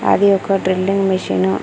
అది ఒక drilling machine .